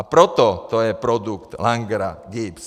A proto to je produkt Langera, GIBS.